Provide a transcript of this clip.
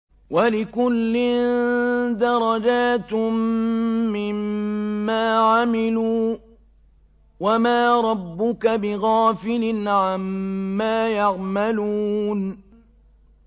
وَلِكُلٍّ دَرَجَاتٌ مِّمَّا عَمِلُوا ۚ وَمَا رَبُّكَ بِغَافِلٍ عَمَّا يَعْمَلُونَ